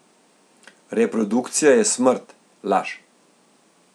Reprodukcija je smrt, laž.